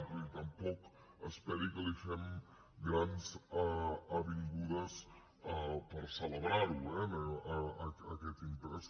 vull dir tampoc esperi que li fem grans avingudes per celebrar lo eh aquest impost